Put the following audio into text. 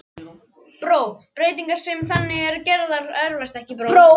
Breytingar sem þannig eru gerðar erfast ekki.